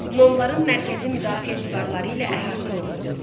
Nomların mərkəzi müdafiə divarları ilə əhatə olunurdu.